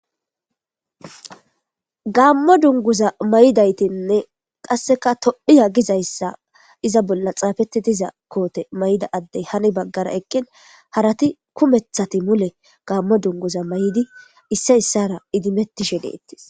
Gamo dunguzza maydaytinne qassikka Tophia gidda xuffe mayiddayssi hini bagarra eqqin harrati kumethati mule gamodunguzza mayidi issoy issara idimetishe de'ttees.